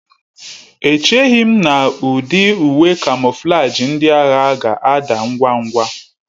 Echeghị m na ụdị uwe kamoflaji ndị agha ga-ada ngwa ngwa